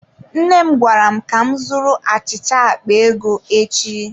Nne m gwara m ka m zụrụ achịcha akpa ego echi.